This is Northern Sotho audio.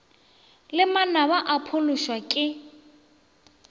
le manaba o phološwa ke